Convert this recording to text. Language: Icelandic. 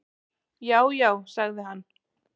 """Já, já sagði hann."""